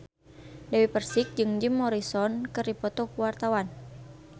Dewi Persik jeung Jim Morrison keur dipoto ku wartawan